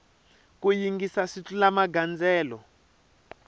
ku yingisa swi tlula magandzelo